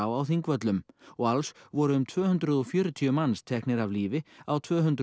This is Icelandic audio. á Þingvöllum og alls voru um tvö hundruð og fjörutíu manns teknir af lífi á tvö hundruð